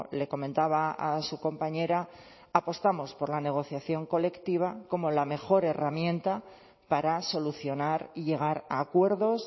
le comentaba a su compañera apostamos por la negociación colectiva como la mejor herramienta para solucionar y llegar a acuerdos